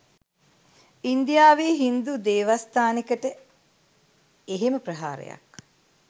ඉන්දියාවේ හින්දු දෙවස්තානෙකට එහෙම ප්‍රහාරයක්